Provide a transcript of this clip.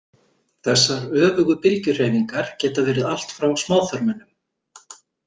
Þessar öfugu bylgjuhreyfingar geta verið allt frá smáþörmunum.